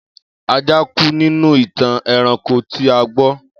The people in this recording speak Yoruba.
Ajá kú nínú ìtàn ẹranko tí a gbọ́.